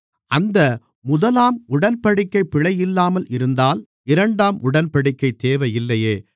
அந்த முதலாம் உடன்படிக்கை பிழையில்லாமல் இருந்தால் இரண்டாம் உடன்படிக்கை தேவையில்லையே